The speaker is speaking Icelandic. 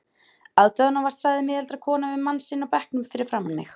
Aðdáunarvert sagði miðaldra kona við mann sinn á bekknum fyrir framan mig.